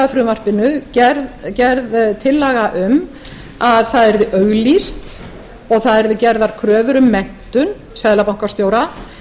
frumvarpinu gerð tillaga um að það yrði auglýst og það yrðu gerðar kröfur um menntun seðlabankastjóra